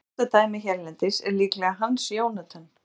Þekktasta dæmið hérlendis er líklega Hans Jónatan.